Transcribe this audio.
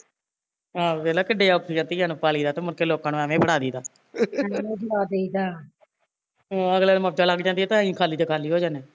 ਆਹੋ ਵੇਖਲਾ ਕਿੱਡੇ ਔਖੇ ਆ ਧੀਆ ਨੂੰ ਪਾਲੀ ਦਾ ਤੇ ਮੁੜ ਕੇ ਲੋਕਾਂ ਨੂੰ ਏਵੈ ਹੀਂ ਫੜਾ ਦਈ ਦਾ ਅਗਲੇ ਨੂੰ ਮੋਜਾ ਲੱਗ ਜਾਂਦੀਆ ਤੇ ਅਸੀਂ ਖਾਲੀ ਦੇ ਖਾਲੀ ਹੋ ਜਾਂਦੇ